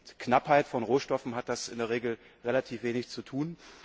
Mit Knappheit von Rohstoffen hat das in der Regel relativ wenig zu tun.